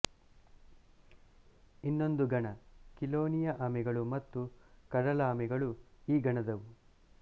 ಇನ್ನೊಂದು ಗಣ ಕಿಲೋನಿಯ ಆಮೆಗಳು ಮತ್ತು ಕಡಲಾಮೆಗಳು ಈ ಗಣದವು